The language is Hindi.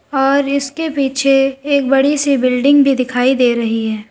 और इसके पीछे एक बड़ी सी बिल्डिंग भी दिखाई दे रही है।